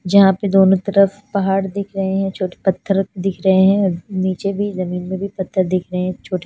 जहा पे दोनों तरफ पहाड़ दिख रहे है छोटे पथर दिख रहे है नीचे भी जमीन में भी पथर दिख रहे है छोटे --